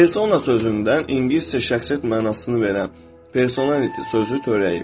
Persona sözündən İngiliscə şəxsiyyət mənasını verən personality sözü törəyib.